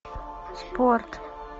спорт